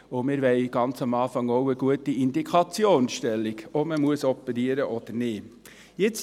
Und wir wollen ganz am Anfang auch eine gute Indikationsstellung, ob man operieren muss oder nicht.